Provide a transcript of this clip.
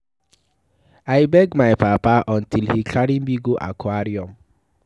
I beg my papa until he carry me go aquarium.